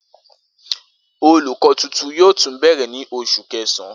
Olukọ tuntun yoo tun bẹrẹ ni Oṣu Kẹsan